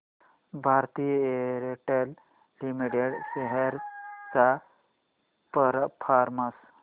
Bharti Airtel limited shares चा performance